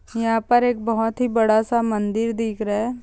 यहां पर एक बहुत ही बाद स मंदिर दिख रहा है ।